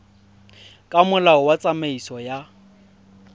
ka molao wa tsamaiso ya